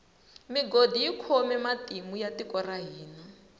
migodi yi khome matimu ya tiko ra hina